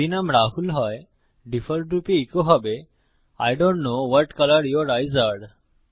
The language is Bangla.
যদি নাম রাহুল হয় ডিফল্টরূপে ইকো হবে I don't know what colour your eyes আরে